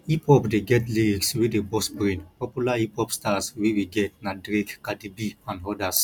hip hop dey get lyrics wey dey burst brain popular hiphop stars wey we get na drake cardieb and odas